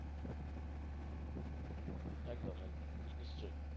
একদম একদম নিশ্চই।